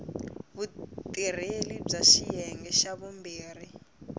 vutirheli bya xiyenge xa vumbirhi